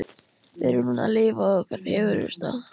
Við erum núna að lifa okkar fegursta.